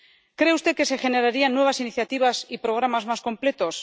¿Cree usted que se generarían nuevas iniciativas y programas más completos?